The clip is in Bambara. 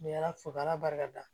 Ni ala fo k'ala barika da